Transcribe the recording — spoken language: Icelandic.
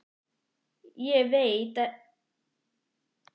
Ekki veit ég hversvegna ég notaði þetta bragð.